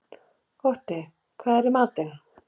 Otti, hvað er í matinn?